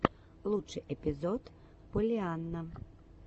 лучший эпизод поллианна